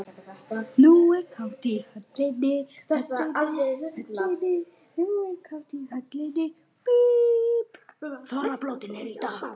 Fólk er bara í áfalli.